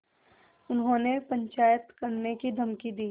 उन्होंने पंचायत करने की धमकी दी